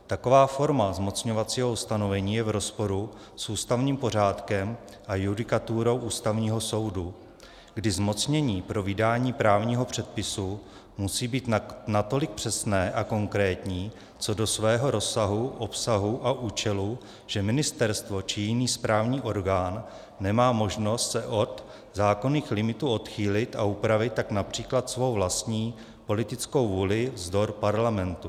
Taková forma zmocňovacího ustanovení je v rozporu s ústavním pořádkem a judikaturou Ústavního soudu, kdy zmocnění pro vydání právního předpisu musí být natolik přesné a konkrétní co do svého rozsahu, obsahu a účelu, že ministerstvo či jiný správní orgán nemá možnost se od zákonných limitů odchýlit a upravit tak například svou vlastní politickou vůli vzdor parlamentu.